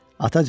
Atacan!